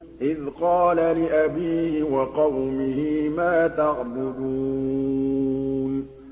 إِذْ قَالَ لِأَبِيهِ وَقَوْمِهِ مَا تَعْبُدُونَ